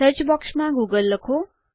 search બોક્સમાં Google લખો